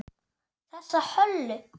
Þessa Höllu!